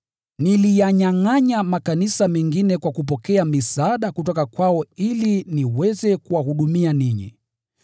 Niliyanyangʼanya makanisa mengine kwa kupokea misaada kutoka kwao ili niweze kuwahudumia ninyi.